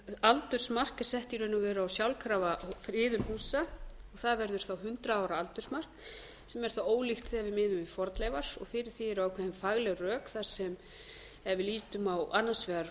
sett í raun og veru á sjálfkrafa friðun húsa það verður þá hundrað ára aldursmark sem er þá ólíkt þegar við miðum við fornleifar og fyrir því eru ákveðin fagleg rök þar sem ef við lítum á annars vegar